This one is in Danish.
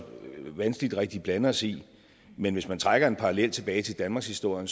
vanskeligt rigtig blande os i men hvis man trækker en parallel tilbage til danmarkshistorien